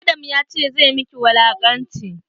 Adam ya ce zai maki wulaƙanci.